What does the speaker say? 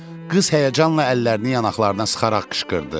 Qız həyəcanla əllərini yanaqlarına sıxaraq qışqırdı.